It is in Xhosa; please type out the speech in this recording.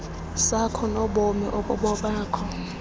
sakho nobomi obubobakho